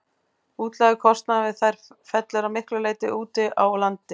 Útlagður kostnaður við þær fellur að miklu leyti til úti á landi.